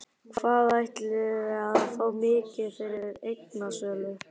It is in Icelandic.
Hvað ætliði að fá mikið fyrir eignasölu?